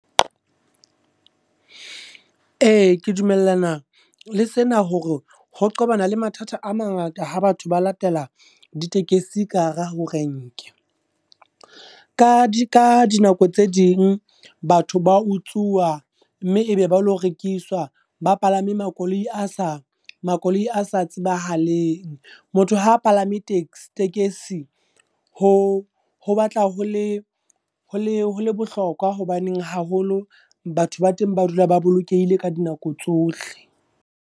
Ee, ke dumellana le sena hore ho qa qobana le mathata a mangata ha batho ba latela di tekesi ka hara ho renke. Ka di ka dinako tse ding batho ba utsuwa, mme e be ba ilo rekiswa, ba palame makoloi a sa makoloi a sa tsebahaleng. Motho ha palame tekesi, ho ho batla ho le ho bohlokwa hobaneng haholo batho ba teng ba dula ba bolokehile ka dinako tsohle.